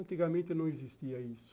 Antigamente não existia isso.